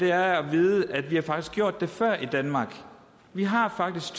er at vide at vi faktisk har gjort det før i danmark vi har faktisk